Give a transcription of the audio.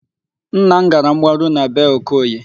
Nna m gara mgbaru na bee Okoye.